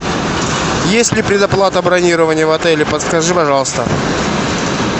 есть ли предоплата бронирования в отеле подскажи пожалуйста